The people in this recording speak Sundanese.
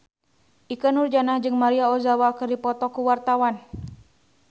Ikke Nurjanah jeung Maria Ozawa keur dipoto ku wartawan